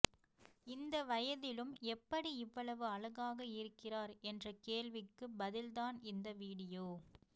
இந்த வயதிலும் எப்படி இவ்வளவு அழகாக இருக்கிறார் என்ற கேள்விக்கு பதில் தான் இந்த வீடியோ